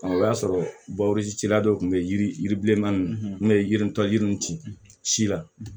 O y'a sɔrɔ cila dɔ kun bɛ yiri yirilenna n ye yiri tɔ yiri ci si la